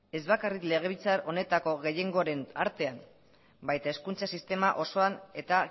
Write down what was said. ez bakarrik legebiltzar honetako gehiengoren artean baina hezkuntza sistema osoan eta